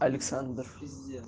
александр пиздец